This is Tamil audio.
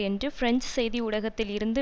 என்று பிரெஞ்சு செய்தி ஊடகத்தில் இருந்து